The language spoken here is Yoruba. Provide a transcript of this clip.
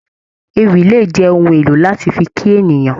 Ewì lè jẹ ohùn èlò láti fí kí ènìyàn.